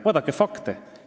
Vaadake fakte!